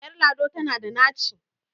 Ƴar lado tana da naci.